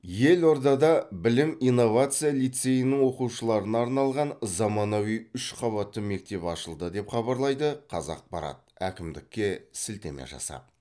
елордада білім инновация лицейінің оқушыларына арналған заманауи үш қабатты мектеп ашылды деп хабарлайды қазақпарат әкімдікке сілтеме жасап